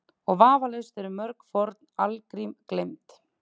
Og vafalaust eru mörg forn algrím gleymd.